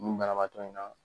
Nu banabaatɔ in na.